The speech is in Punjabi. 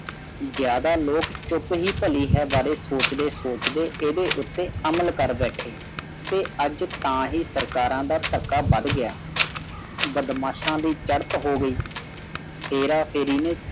ਜ਼ਿਆਦਾ ਲੋਕ ਚੁੱਪ ਹੀ ਭਲੀ ਹੈ ਬਾਰੇ ਸੋਚਦੇ-ਸੋਚਦੇ ਇਹਦੇ ਉੱਤੇ ਅਮਲ ਕਰ ਬੈਠੇ ਤੇ ਅੱਜ ਤਾਂਹੀ ਸਰਕਾਰਾਂ ਦਾ ਧੱਕਾ ਵੱਧ ਗਿਆ। ਬਦਮਾਸ਼ਾਂ ਦੀ ਚੜ੍ਹਤ ਹੋ ਗਈ ਹੇਰਾ ਫੇਰੀ ਨੇ